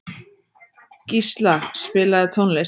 Gísla, spilaðu tónlist.